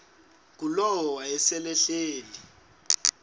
ngulowo wayesel ehleli